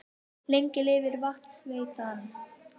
Lengi lifi Vatnsveitan!